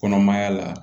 Kɔnɔmaya la